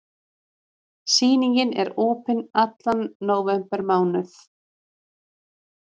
Sýningin er opin allan nóvembermánuð.